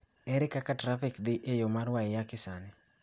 Ere kaka trafik dhi e yo ma waiyaki sani